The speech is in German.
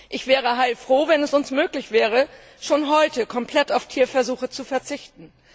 Ich wäre heilfroh, wenn es uns möglich wäre, schon heute komplett auf Tierversuche zu verzichten.